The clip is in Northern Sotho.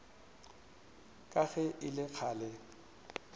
ka ge e le kgale